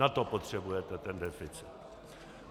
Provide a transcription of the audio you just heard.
Na to potřebujete ten deficit.